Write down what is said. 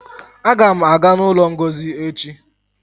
Aga m aga n'ụlọ Ngozi echi